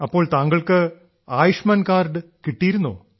അപ്പോൾ താങ്കൾക്ക് ആയുഷ്മാൻ കാർഡ് കിട്ടിയിരുന്നോ